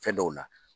Fɛn dɔw la